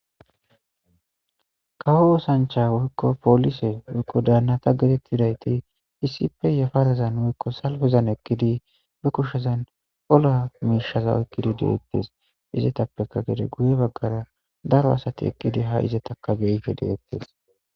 Kawo oosanchcha woykko poolise woykko daannata geetettidayti issippe yafarazan woykko salfezan eqqidi be kushezan ola miishaza oyqqidi de'ettes izetappeka gede guye baggara daro asati eqqidi haa izetakka be'ishe de'ettes.